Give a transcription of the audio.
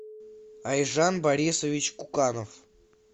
айжан борисович куканов